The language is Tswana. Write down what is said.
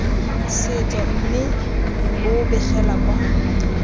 setso mme bo begela kwa